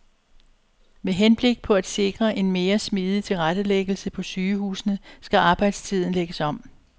Med henblik på at sikre en mere smidig tilrettelæggelse på sygehusene skal arbejdstiden lægges om.